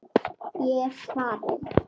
Ég er farinn!